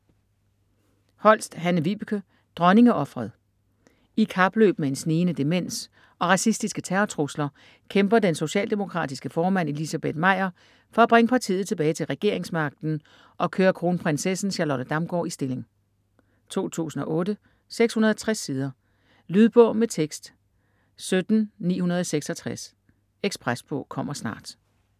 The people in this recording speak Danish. Holst, Hanne-Vibeke: Dronningeofret I kapløb med en snigende demens og racistiske terrortrusler kæmper den socialdemokratiske formand Elizabeth Meyer for at bringe partiet tilbage til regeringsmagten og køre kronprinsessen Charlotte Damgaard i stilling. 2008, 660 sider. Lydbog med tekst 17966 Ekspresbog - kommer snart